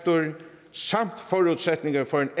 samt forudsætninger for en